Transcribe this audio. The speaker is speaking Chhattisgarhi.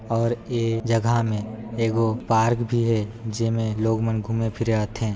और ए जगह मे एको पार्क भी हे जेमे लोग मन घूमे फिरे आथे।